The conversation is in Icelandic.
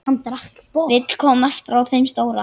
Vill komast frá þeim stóra.